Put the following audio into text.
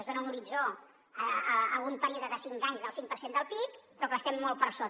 es dona un horitzó a un període de cinc anys del cinc per cent del pib però clar estem molt per sota